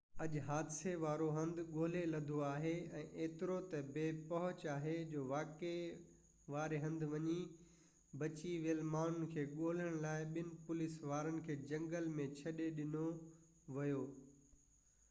اڄ حادثي وارو هنڌ ڳولي لڌو ويو ۽ ايترو تہ بي پهچ آهي جو واقعي واري هنڌ وڃي بچي ويل ماڻهن کي ڳولڻ لاءِ ٻن پوليس وارن کي جهنگل ۾ ڇڏي ڏنو ويو